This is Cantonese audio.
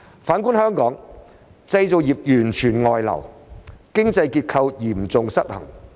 反觀香港，製造業完全外流，經濟結構嚴重失衡。